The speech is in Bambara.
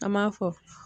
An m'a fɔ